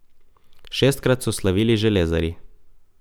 Šestkrat so slavili železarji.